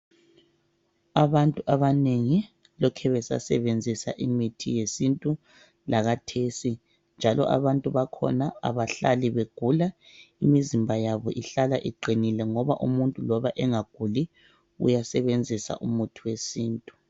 Abantu abanengi lokhe besasebenzisa imithi yesintu lakhathesi njalo abantu bakhona abahlali begula imizimba yabo ihlala iqinile ngoba umuntu loba engaguli uyasebenza umuthi wesintu.